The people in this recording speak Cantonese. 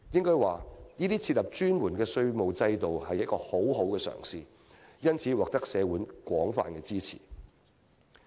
我可以說，這是設立專門稅務制度的一個很好嘗試，因此獲得社會廣泛支持。